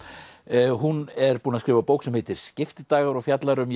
hún er búin að skrifa bók sem heitir Skiptidagar og fjallar um